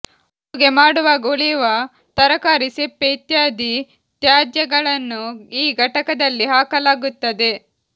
ಅಡುಗೆ ಮಾಡುವಾಗ ಉಳಿಯುವ ತರಕಾರಿ ಸಿಪ್ಪೆ ಇತ್ಯಾದಿ ತ್ಯಾಜ್ಯಗಳನ್ನು ಈ ಘಟಕದಲ್ಲಿ ಹಾಕಲಾಗುತ್ತದೆ